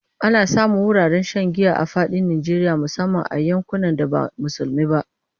Ana samun wuraren shan giya a fadin Najeriya musamman a yankunan da ba musulmi ba.